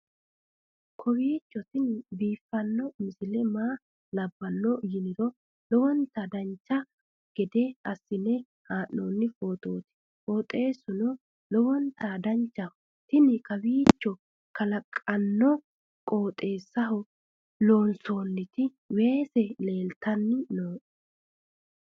kowiicho tini biiffanno misile maa labbanno yiniro lowonta dancha gede assine haa'noonni foototi qoxeessuno lowonta danachaho. tini kowiiicho kalaqonna qoooxeessaho loonsoonniti weese leeltanni nooe